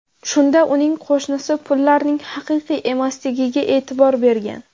Shunda uning qo‘shnisi pullarning haqiqiy emasligiga e’tibor bergan.